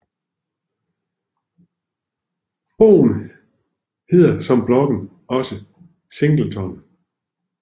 Bogen hedder som bloggen også Singleton